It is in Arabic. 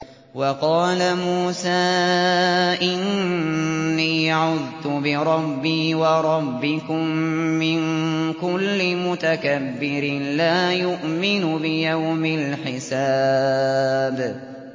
وَقَالَ مُوسَىٰ إِنِّي عُذْتُ بِرَبِّي وَرَبِّكُم مِّن كُلِّ مُتَكَبِّرٍ لَّا يُؤْمِنُ بِيَوْمِ الْحِسَابِ